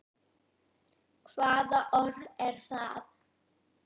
Hvaða orð er það?